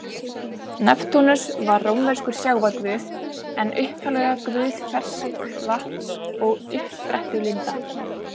Neptúnus var rómverskur sjávarguð en upphaflega guð ferskvatns og uppsprettulinda.